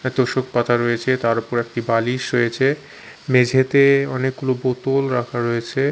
এক তোষক পাতা রয়েছে তার ওপরে একটি বালিশ রয়েছে মেঝেতে অনেকগুলো বোতল রাখা রয়েছে।